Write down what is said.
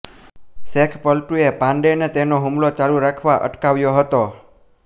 શેખ પલ્ટુએ પાંડેને તેનો હુમલો ચાલુ રાખતા અટકાવ્યો હતો